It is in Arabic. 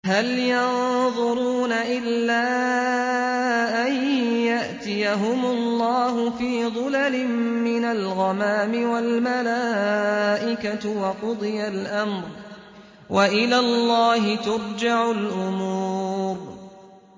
هَلْ يَنظُرُونَ إِلَّا أَن يَأْتِيَهُمُ اللَّهُ فِي ظُلَلٍ مِّنَ الْغَمَامِ وَالْمَلَائِكَةُ وَقُضِيَ الْأَمْرُ ۚ وَإِلَى اللَّهِ تُرْجَعُ الْأُمُورُ